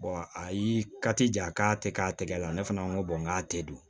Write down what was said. a y'i ja k'a tɛ k'a tɛgɛ la ne fana ko n k'a tɛ don